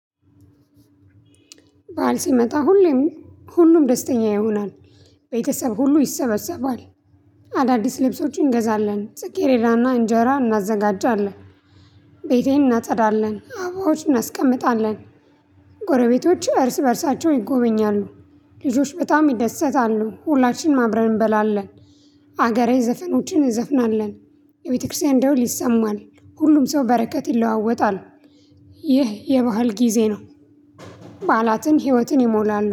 ባል ሲመጣ ሁሌም ሁሉም ደስተኛ ይሆናል። ቤተሰብ ሁሉ ይሰበሰባል። አዳዲስ ልብሶቹን እንገዛለን። ጽጌረዳና እንጀራ እናዘጋጃለን። ቤቴን እናጸዳለን። አባዎችን እናስቀምጣለን። ጎረቤቶች እርስ በእርሳቸው ይጎበኛሉ። ልጆች በጣም ይደሰታሉ። ሁላችንም አብረን እንበላለን። አገራዊ ዘፈኖችን እንዘፍናለን። የቤተክርስቲያን ደውል ይሰማል። ሁሉም ሰው በረከት ይለዋወጣል። ይህ የባህል ጊዜ ነው። ባላትን ህይወትን ይሞላሉ።